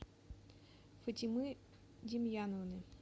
фатимы демьяновны